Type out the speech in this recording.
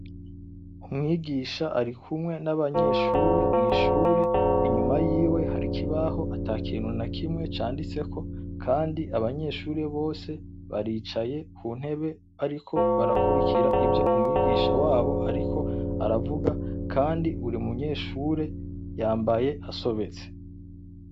Umwigisha arikumwe n'abanyeshure biwe mw'ishure, inyuma yiwe hari ikibaho atakintu nakimwe canditseko, kandi abanyeshure bose baricaye kuntebe bariko barakurikira ivyo umwigisha wabo ariko arabigisha kandi buri munyeshure yambaye asobetse.